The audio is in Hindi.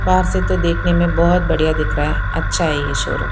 बाहर से तो देखने में बहुत बढ़िया दिख रहा है अच्छा है ये शोरूम ।